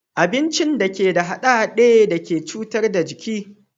Abincin da bai da hade-hade da ke cutar da jiki